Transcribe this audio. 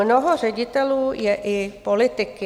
Mnoho ředitelů je i politiky.